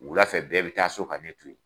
Wula fɛ bɛɛ bɛ taa so ka ne to yen.